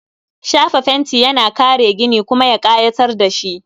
Shafa fenti yana kare gini, kuma ya kayatar da shi